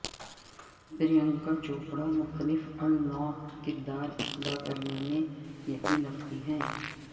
پرینکا چوپڑہ مختلف النوع کردار ادا کرنے میں یقین رکھتی ہیں